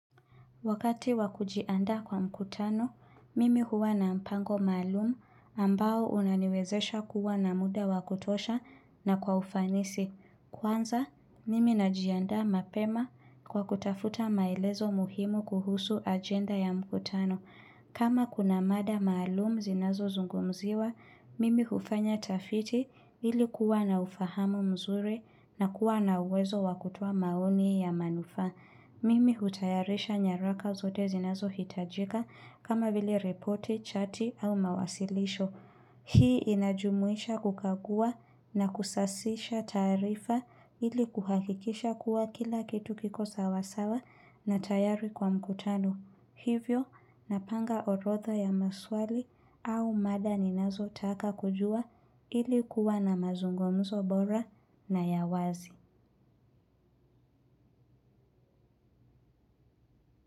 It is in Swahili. Wakati wa kujiandaa kwa mkutano, mimi huwa na mpango maalumu ambao unaniwezesha kuwa na muda wa kutosha na kwa ufanisi. Kwanza, mimi najiandaa mapema kwa kutafuta maelezo muhimu kuhusu agenda ya mkutano. Kama kuna mada maalumu zinazozungumziwa, mimi hufanya tafiti ili kuwa na ufahamu mzuri na kuwa na uwezo wakutoa maoni ya manufa. Mimi hutayarisha nyaraka zote zinazohitajika kama vile ripoti, chati au mawasilisho. Hii inajumuisha kukagua na kusasisha tarifa ili kuhakikisha kuwa kila kitu kiko sawasawa na tayari kwa mkutano. Hivyo, napanga orodha ya maswali au mada ninazotaka kujua ili kuwa na mazungumzo bora na ya wazi.